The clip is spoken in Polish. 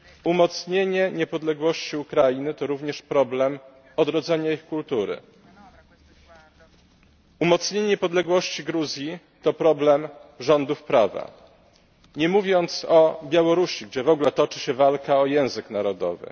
umocnienie niepodległości Ukrainy to również problem odrodzenia jej kultury, umocnienie niepodległości Gruzji to problem rządów prawa, nie mówiąc o Białorusi, gdzie w ogóle toczy się walka o język narodowy.